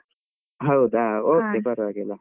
ಹೌದಾ okay ಪರವಾಗಿಲ್ಲ.